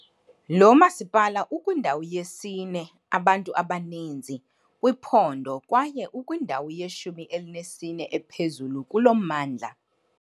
Lo masipala ukwindawo yesine abantu abaninzi kwiphondo kwaye ukwindawo yeshumi elinesine ephezulu kulo mmandla.